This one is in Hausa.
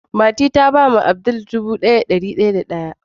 Fati ta ba Abdul sauran dubu daya da dari daya da daya.